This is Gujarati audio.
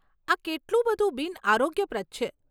આ કેટલું બધું બિનઆરોગ્યપ્રદ છે.